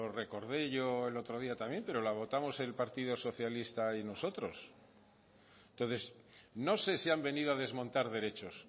recordé yo el otro día también pero lo votamos el partido socialista y nosotros entonces no se sí han venido a desmontar derechos